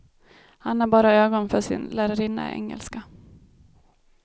Han har bara ögon för sin lärarinna i engelska.